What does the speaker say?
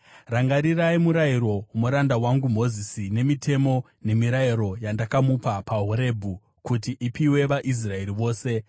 “Rangarirai murayiro womuranda wangu Mozisi, mitemo nemirayiro yandakamupa paHorebhi kuti ipiwe vaIsraeri vose.